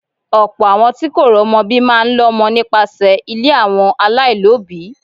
Ọ̀pọ̀ àwọn tí kò romo bí máa ń lọmọ nípasẹ̀ ilé àwọn alailobi.